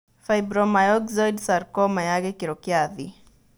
Fibromyxoid sarcoma ya gĩkĩro kĩa thĩ.